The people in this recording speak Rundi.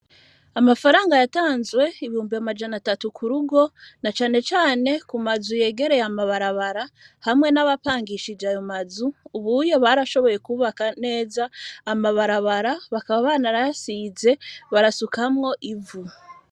Amafaranga yatanzwe ibumbi amajana atatu ku rugo na canecane ku mazu yegereye amabarabara hamwe n'abapangishij ayo mazu ubuyo barashoboye kubaka neza amabarabara bakaba bana rasize barasukamwo ivu.